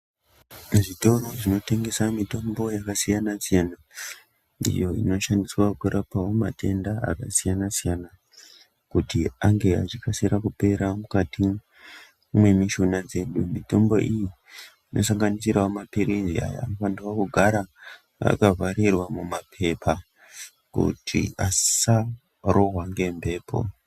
Muzvitoro zvinotengesa mitombo yakasiyanasiyana ndiyo inoshandiswa kurapao matenda akasiyanasiyana kuti ange achikasira kupera mukati mwemishonga dzedu mitombo iyi inosanganisirao mapirini aya anofanira kugara akavharirwa mumapepa kuti asarohwa ngembepo.